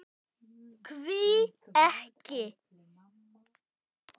Hví ekki.